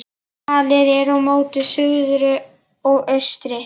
Svalir eru móti suðri og austri.